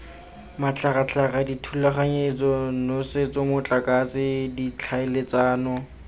matlhagatlhaga dithulaganyetso nosetso motlakase ditlhaeletsano